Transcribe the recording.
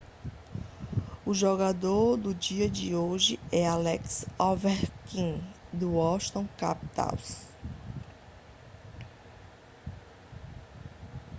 o jogador do dia de hoje é alex ovechkin do washington capitals